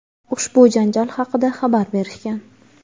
ushbu janjal haqida xabar berishgan.